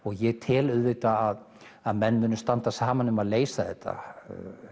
ég tel að að menn muni standa saman um að leysa þetta